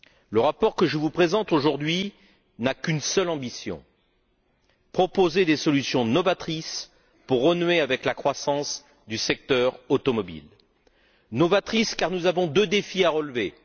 Le rapport que je vous présente aujourd'hui n'a qu'une seule ambition proposer des solutions novatrices pour renouer avec la croissance du secteur automobile, novatrices car nous avons deux défis à relever.